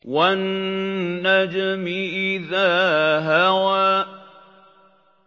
وَالنَّجْمِ إِذَا هَوَىٰ